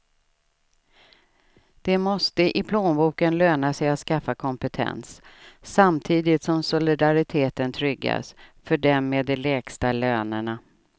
Det måste i plånboken löna sig att skaffa kompetens, samtidigt som solidariteten tryggas för dem med de lägsta lönerna.